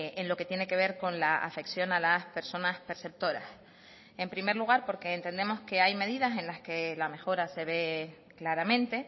en lo que tiene que ver con la afección a las personas perceptoras en primer lugar porque entendemos que hay medidas en las que la mejora se ve claramente